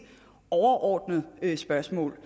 overordnet spørgsmål